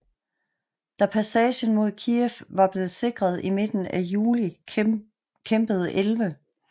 Da passagen mod Kijev var blevet sikret i midten af juli kæmpede 11